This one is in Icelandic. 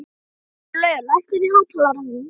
Sturlaugur, lækkaðu í hátalaranum.